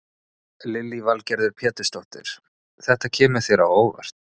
Lillý Valgerður Pétursdóttir: Þetta kemur þér á óvart?